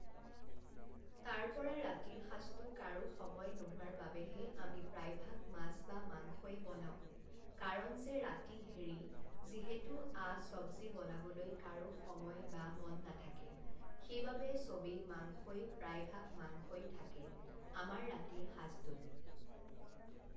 তাৰপৰা ৰাতিৰ সাজটো কাৰো সময় নোহোৱাৰ বাবেহে আমি প্ৰায়ভাগ মাছ বা মাংসয়ে বনাওঁ কাৰণ যে ৰাতি হেৰি যিহেতু আ চবজি বনাবলৈ কাৰো সময় বা মন নাথাকে, সেইবাবে সবেই মাংসই প্ৰায়ভাগ মাংসই থাকে আমাৰ ৰাতিৰ সাজটোত